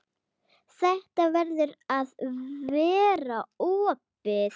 Þetta verður að vera opið.